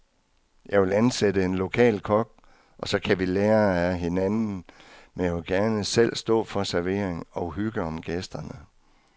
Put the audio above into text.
Jeg vil ansætte en lokal kok, og så kan vi lære af hinanden, men jeg vil gerne selv stå for servering og hygge om gæsterne.